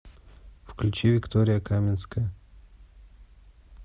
включи виктория каминская